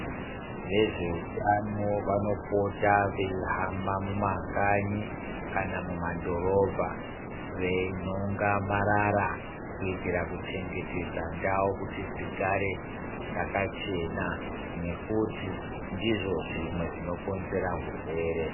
Vezveutano vanopota veihamba mumakanyi kana mumadhorobha veinhonga marara kuitira kuchengetedza ndau kuti dzigare dzakachana nekuti ndizvo zvimwe zvinokonzera zvirwere.